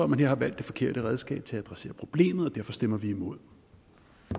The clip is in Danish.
man her har valgt det forkerte redskab til at adressere problemet derfor stemmer vi imod